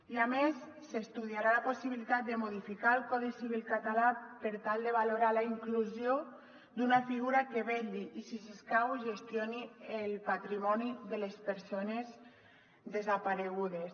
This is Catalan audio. i a més s’estudiarà la possibilitat de modificar el codi civil català per tal de valorar la inclusió d’una figura que vetlli i si s’escau gestioni el patrimoni de les persones desaparegudes